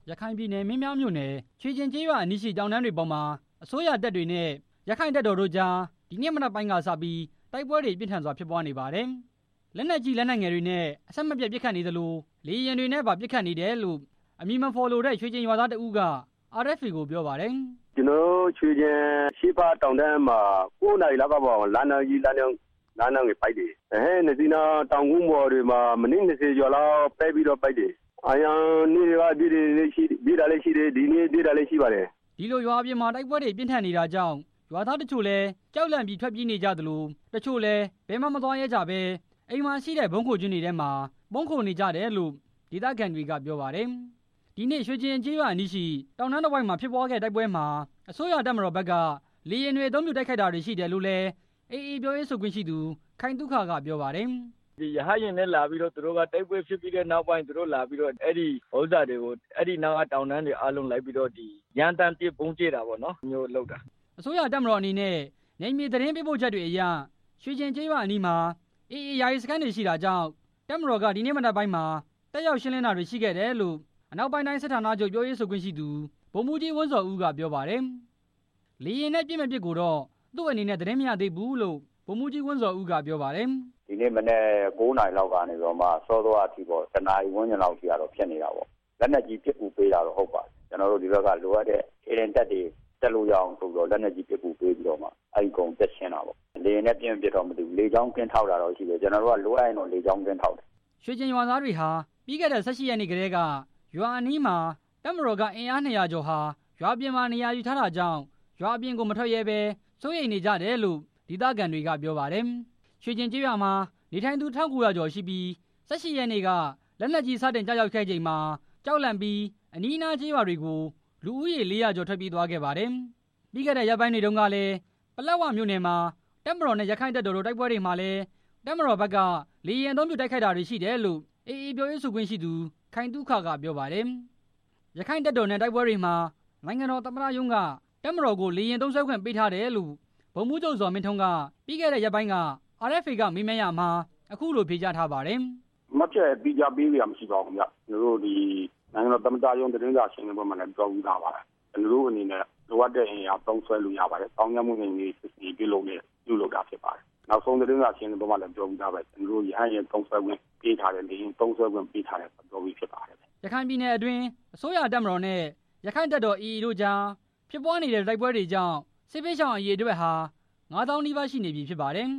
ရခိုင်ပြည်နယ်၊ မင်းပြားမြို့နယ် ရွှေကျင်ကျေးရွာအနီးမှာ အစိုးရတပ်တွေနဲ့ ရက္ခိုင့်တပ်တော် AA တို့ ဒီနေ့မနက် ကစပြီး တိုက်ပွဲတွေပြင်းထန်နေပါတယ်။ လက်နက်ကြီး လက်နက်ငယ်တွေနဲ့ အဆက်မပြတ်ပစ်ခတ်နေသလို့ လေယာဉ်တွေနဲ့ပါ ပစ်ခတ်နေတယ်လို့ အမည်မဖော်လို့တဲ့ ရွှေကျင်ရွာသားတစ်ဦးက ပြောပါတယ်။ “ကျနော်တို့ ရွှေကျင်အရှေ့ဘက်တောင်တန်းမှာ ကိုးနာရီလောက်က လက်နက်ကြီး လက်နက်ငယ်တွေနဲ့ ပစ်တယ်၊ ရဟတ်ယာဉ်နှစ်စီးနဲ့ တောင်ကုန်းတွေပေါ်မှာ မိနစ်နှစ်ဆယ်လောက်ပတ်ပြီး ပစ်တယ်၊ ရွာသားတွေက အရင်နေ့တွေက ပြေးတာလည်းရှိတယ် ဒီနေ့မှ ပြေးတာလည်းရှိတယ်” ဒီလိုရွာအပြင်မှာ တိုက်ပွဲတွေပြင်းထန်နေတာကြောင့် ရွာသားတချို့လည်း ကြောက်လန့်ပြီး ထွက်ပြေးနေကြသလို့ တချို့လည်း ဘယ်မှမသွားရဲကြဘဲ နေအိမ်မှာရှိတဲ့ ဗုံးခိုကျင်းတွေထဲမှာ ပုန်းခိုနေကြရတယ်လို့ ဒေသခံတွေက ပြောပါတယ်။ ဒီနေ့ ရွှေကျင်ကျေးရွာအနီးရှိ တောင်တန်းတဝိုက်မှာ ဖြစ်တဲ့တိုက်ပွဲမှာ အစိုးရတပ်မတော်ဖက်က လေယာဉ်တွေ အသုံးပြု တိုက်ခိုက်တာတွေရှိတယ်လို့လည်း AA ပြောရေးဆိုခွင့်ရှိသူ ခိုင်သုခက ပြောပါတယ်။ “ရဟတ်ယာဉ်နဲ့ တိုက်ပွဲဖြစ်ပြီးတဲ့နောက်ပိုင်း အဲဒီနားကတောင်ကုန်းတွေကို လိုက်ပြီး ရမ်းသမ်းဗုံးကြဲတာမျိုး လုပ်တာ” အစိုးရတပ်မတော်အနေနဲ့ နယ်မြေသတင်းပေးပို့ချက်တွေအရ ရွှေကျင်ရွာအနီးနားမှာ AA ယာယီစခန်းတွေ ရှိတာကြောင့် တပ်တော်က ဒီနေ့မနက်ပိုင်းမှာ တတ်ရောက်ရှင်းလင်းတာတွေရှိတယ်လို့ အနောက်ပိုင်းတိုင်း စစ်ဌာနချုပ်ပြောရေးဆိုခွင့်ရှိသူ ဗိုလ်မှူးကြီး ဝင်းဇော်ဦးက ပြောပါတယ်။ လေယာဉ်နဲ့ပစ်မပစ်ကိုတော့ သူအနေနဲ့ သတင်းမရသေးဘူးလု့ိ ဗိုလ်မှူးကြီး ဝင်းဇော်ဦးက ပြောပါတယ်။ “ဒီနေ့မနက် ကိုးနာရီလောက်နေ စောစောကထိပေါ့ တစ်နာရီဝန်းကျင်လောက်ထိတော့ တိုက်ပွဲကဖြစ်နေတာပေါ့၊ လက်နက်ကြီး ပစ်ကူပေးတာတော့ ဟုတ်ပါတယ်၊ ဒီဘက်ကနေ လိုအပ်တဲ့ခြေလျင်တပ်တွေ တတ်လို့ရအောင် ဆိုပြီးတော့ လက်နက်ကြီးပစ်ကူပြီးတော့ အဲကုန်းကို တတ်ရှင်းတာပေါ့ လေယာဉ်ပစ်မပစ်တော့မသိဘူး၊ လေကြောင်းကင်းထောက်တာတော့ရှိတယ် ကျနော်တို့က လိုအပ်ရင်လေကြောင်းကင်းထောက်တယ်” ရွှေကျင်ရွာသားတွေဟာ ပြီးခဲ့တဲ့ ၁၈ ရက်နေ့ကတည်းက ရွာအနီးမှာ တပ်မတော်က အင်အား ၂၀၀ ကျော်ဟာ ရွာအပြင်မှာ နေရာယူထားတာကြောင့် ရွာအပြင်ကို မထွက်ရဲဘဲ စိုးရိမ်နေကြတယ်လို့ ဒေသခံတွေက ပြောပါတယ်။ ရွှေကျင်ကျေးရွာမှာ နေထိုင်သူ ၁၉၀၀ ကျော်ရှိပြီး ၁၈ ရက်နေ့က လက်နက်ကြီး စတင်ကျရောက်ခဲ့ချိန်မှာ ကြောက်လန့်ပြီး အနီးနားကျေးရွာတွေကို လူဦးရေ ၄၀၀ ကျော် ထွက်ပြေးသွားပါတယ်။ ပြီးခဲ့တဲ့ရက်ပိုင်းတွေတုန်းက ပလက်ဝမြို့နယ်မှာ တပ်မတော်နဲ့ ရက္ခိုင့်တပ်တော်တို့ တိုက်ပွဲတွေမှာလည်း တပ်မတော်ဘက်က လေယာဉ်အသုံးပြု တိုက်ခိုက်တာတွေရှိတယ်လို့ ရက္ခိုင့်တပ်တော် ပြောရေးဆိုခွင့်ရှိသူ ခိုင်သုခက ပြောပါတယ်။ ရက္ခိုင့်တပ်တော်နဲ့ တိုက်ပွဲတွေမှာ နိုင်ငံတော်သမ္မတရုံးက တပ်မတော်ကို လေယာဉ်သုံးစွဲခွင့်ပေးထားတယ်လို့ ဗိုလ်မှူးချုပ် ဇော်မင်းထွန်းက ပြီးခဲ့တဲ့ရက်ပိုင်းက RFA မေးမြန်းရာမှာ အခုလို ဖြေကြားထားပါတယ်။ “မှတ်ချက်သီးခြားပေးစရာမရှိပါဘူးဗျ ကျနော်တို့ နိုင်ငံတော်သမ္မတရုံး သတင်းစာရှင်းလင်းပွဲမှာလည်း ပြောပြီးသားပါ၊ ကျနော်တို့အနေနဲ့ လိုအပ်တဲ့အင်အားသုံးစွဲလို့ရပါတယ်၊ သောင်းကျန်းသူနှိမ်နင်းရေး စစ်ဆင်ရေးပြုလုပ်တာဖြစ်ပါတယ်၊ နောက်ဆုံးသတင်းစာရှင်းလင်းပွဲမှာလည်း ပြောပြီးသားပဲ ကျနော်တို့ ရဟတ်ယာဉ်သုံးစွဲခွင့်ပေးထားတယ်၊ လေယာဉ်သုံးစွဲခွင့်ပေးထားတယ် ပြောပြီးဖြစ်ပါတယ်” ရခိုင်ပြည်နယ်အတွင်း အစိုးရတပ်မတော်နဲ့ ရက္ခိုင့်တပ်တော် AA တို့ကြားဖြစ်ပွားနေတဲ့ တိုက်ပွဲတွေကြောင့် စစ်ဘေးရှောင်အရေအတွက်ဟာ ၅၀၀၀၀ နီးပါးရှိနေပြီ ဖြစ်ပါတယ်